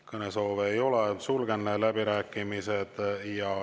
Kõnesoove ei ole, sulgen läbirääkimised.